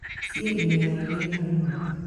Ciĩ imera igĩrĩ harĩ mwaka.